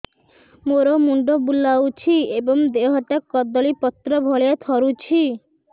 ମୋର ମୁଣ୍ଡ ବୁଲାଉଛି ଏବଂ ଦେହଟା କଦଳୀପତ୍ର ଭଳିଆ ଥରୁଛି